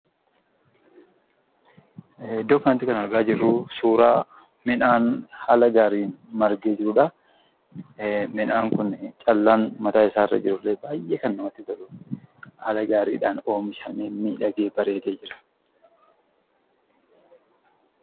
Iddoo kanatti kan argaa jirru, suuraa midhaan haala gaariin margee jirudha. Midhaan kun callaan mataa isaarra jirullee baayyee kan namatti toludha. Haala gaariidhaan oomishamee, miidhagee, bareedee jira.